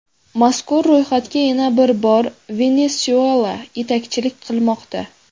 Mazkur ro‘yxatga yana bir bor Venesuela yetakchilik qilmoqda.